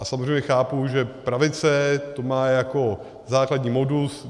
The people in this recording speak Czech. A samozřejmě chápu, že pravice to má jako základní modus.